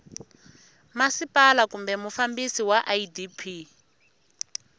masipala kumbe mufambisi wa idp